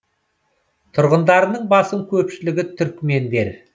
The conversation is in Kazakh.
тұрғындарының басым көпшілігі түрікмендер